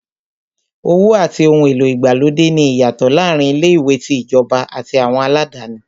Owó àti ohun èlò ìgbàlódé ní ìyàtọ̀ láàárín ilé-ìwé tí ìjọba àti àwọn aládáni.